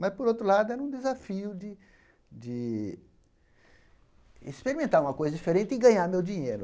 Mas, por outro lado, era um desafio de de experimentar uma coisa diferente e ganhar meu dinheiro.